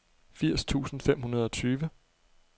firs tusind fem hundrede og tyve